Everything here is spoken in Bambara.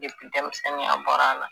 denmisɛnninya bɔra a la